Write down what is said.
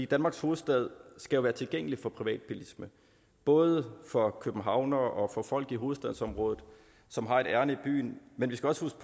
danmarks hovedstad skal jo være tilgængelig for privatbilisme både for københavnere og for folk i hovedstadsområdet som har et ærinde i byen men vi skal også